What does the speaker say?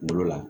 Kunkolo la